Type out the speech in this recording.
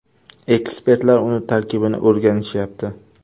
Ekspertlar uning tarkibini o‘rganishyapti.